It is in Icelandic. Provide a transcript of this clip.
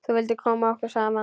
Þú vildir koma okkur saman.